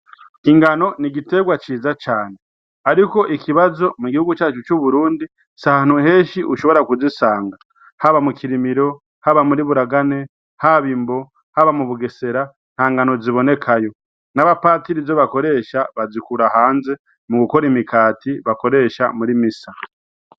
Ingano ni igiterwa ciza cane, ariko ikibazo mu gihugu cacu c'uburundi sahanu heshi ushobora kuzisanga haba mu kirimiro haba muri buragane haba imbo haba mu bugesera ntangano zibonekayo n'abapatiri jo bakoresha bazikura hanze mu gukora imikati bakoresha muri misa.